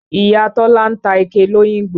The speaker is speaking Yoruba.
Ìya Tọ́lá ń ta ike l'Óyìngbò.